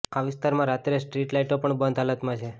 આ વિસ્તારમાં રાત્રે સ્ટ્રીટ લાઈટો પણ બંધ હાલતમાં છે